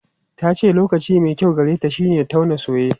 Ta ce lokaci mai kyau gareta shine tauna soye.